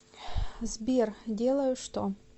сбер делаю что